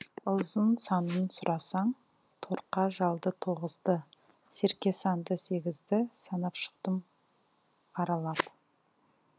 ұзын санын сұрасаң торқа жалды тоғыз ды серке санды сегіз ді санап шықтым аралап